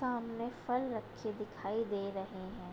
सामने फल रखे दिखाई दे रहे हैं |